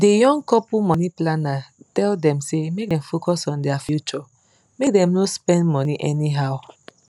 the young couple money planner tell dem say make dem focus on their future make dem no spend money anyhow